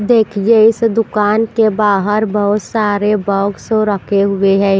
देखिए इस दुकान के बाहर बहुत सारे बॉक्स रखे हुए है।